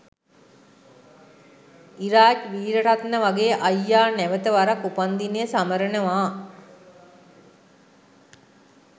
ඉරාජ් වීරරත්න වගේ අයියා නැවත වරක් උපන්දිනය සමරනවා